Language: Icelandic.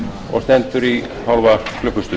og stendur í hálfa klukkustund